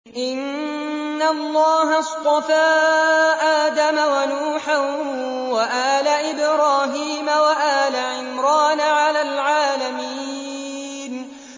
۞ إِنَّ اللَّهَ اصْطَفَىٰ آدَمَ وَنُوحًا وَآلَ إِبْرَاهِيمَ وَآلَ عِمْرَانَ عَلَى الْعَالَمِينَ